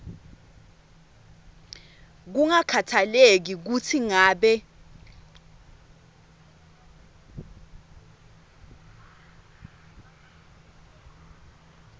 kungakhatsalekile kutsi ngabe